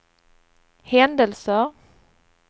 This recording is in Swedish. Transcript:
händelser